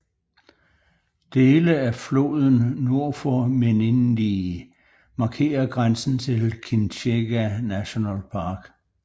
Dele af floden nord for Menindee markerer grænsen til Kinchega National Park